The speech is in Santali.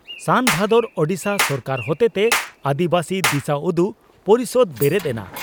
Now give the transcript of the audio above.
ᱥᱟᱱᱼᱵᱷᱟᱫᱚᱨ, ᱳᱰᱤᱥᱟ ᱥᱚᱨᱠᱟᱨ ᱦᱚᱛᱮᱛᱮ ᱟᱹᱫᱤᱵᱟᱹᱥᱤ ᱫᱤᱥᱟᱹᱩᱫᱩᱜ ᱯᱚᱨᱤᱥᱚᱫᱽ ᱵᱮᱨᱮᱫ ᱮᱱᱟ